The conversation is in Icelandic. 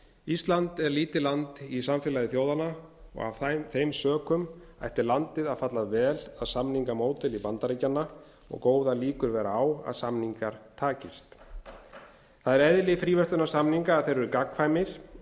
ísland er lítið land í samfélagi þjóðanna og af þeim sökum ætti landið að falla vel að samningamódeli bandaríkjanna og góðar líkur vera á að samningar takist það er eðli fríverslunarsamninga að þeir eru gagnkvæmir